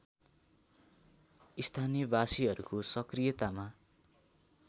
स्थानीयवासीहरूको सक्रियतामा